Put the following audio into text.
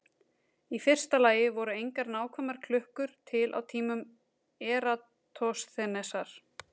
Í fyrsta lagi voru engar nákvæmar klukkur til á tímum Eratosþenesar.